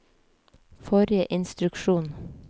forrige instruksjon